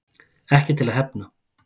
Ekki til að hefna